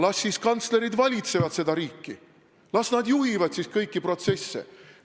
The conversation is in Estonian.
Las siis kantslerid valitsevad seda riiki, las nad juhivad kõiki protsesse.